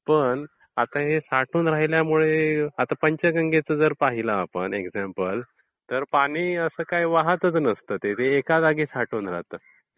पण हे साठून राहिल्यामुळे आता जर पंचगंगेचं जर पाहिलं आपण एक्झांपल तर पाणी आस वाहातच नसते ते,. एका जागी साठून राहते.